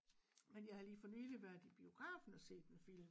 Men jeg har lige for nyligt været i biografen og set en film